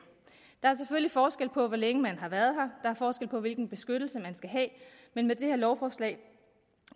der er selvfølgelig forskel på hvor længe man har været her er forskel på hvilken beskyttelse man skal have men med det her lovforslag